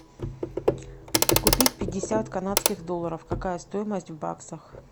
купить пятьдесят канадских долларов какая стоимость в баксах